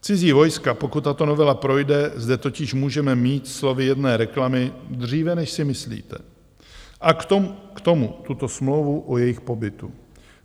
Cizí vojska, pokud tato novela projde, zde totiž můžeme mít slovy jedné reklamy dříve, než si myslíte, a k tomu tuto smlouvu o jejich pobytu.